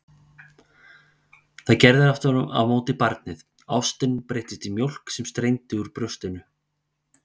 Það gerði aftur á móti barnið, ástin breyttist í mjólk sem streymdi úr brjóstinu.